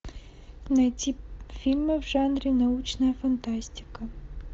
найти фильмы в жанре научная фантастика